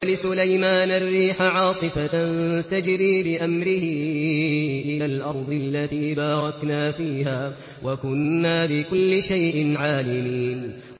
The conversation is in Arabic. وَلِسُلَيْمَانَ الرِّيحَ عَاصِفَةً تَجْرِي بِأَمْرِهِ إِلَى الْأَرْضِ الَّتِي بَارَكْنَا فِيهَا ۚ وَكُنَّا بِكُلِّ شَيْءٍ عَالِمِينَ